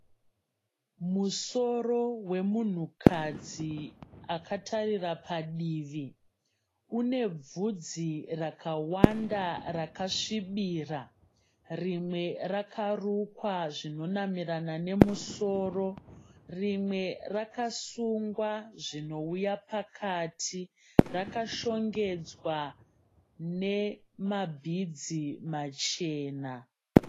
Musoro wemunhukadzi akatarira padivi. Unebvudzi rakawanda rakasvibira. Rimwe rakarukwa zvinonamirana nemusoro rimwe rakasungwa zvinouya pakati. Rakashongedzwa nemabhidzi machena.